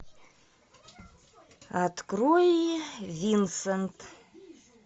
открой винсент